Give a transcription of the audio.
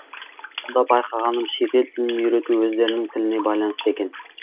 сонда байқағаным шетел тілін үйрету өздерінің тіліне байланысты екен